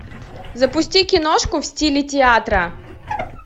запусти киношку в стиле театра